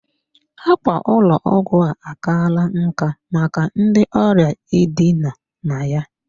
Ákwà ụlọ ọgwụ a akala nkà maka ndị ọrịa idina na ya.